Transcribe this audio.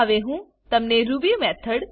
હવે હું તમને રૂબી મેથોડ